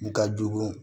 Ka jugu